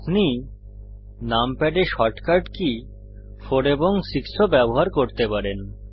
আপনি নামপ্যাড এ shortcut key 4 এবং 6 ও ব্যবহার করতে পারেন